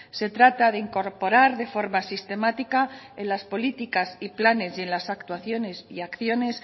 se trata de incorporar de forma sistemática en las políticas y planes y en las actuaciones y acciones